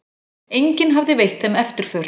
Enginn hafði veitt þeim eftirför.